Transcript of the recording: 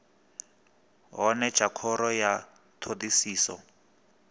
hone tsha khoro ya thodisiso